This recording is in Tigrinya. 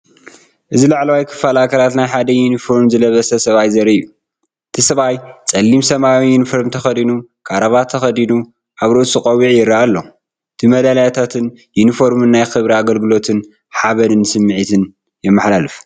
እዚ ላዕለዋይ ክፋል ኣካላት ናይ ሓደ ዩኒፎርም ዝለበሰ ሰብኣይ ዘርኢ እዩ። እቲ ሰብኣይ ጸሊም ሰማያዊ ዩኒፎርም ተኸዲኑ ክራቫታ ተኸዲኑ ኣብ ርእሱ ቆቢዕ ይርአ ኣሎ። እቲ መዳልያታትን ዩኒፎርምን ናይ ክብሪን ኣገልግሎትን ሓበንን ስምዒት የመሓላልፍ።